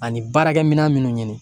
Ani baarakɛ minɛn minnu ɲini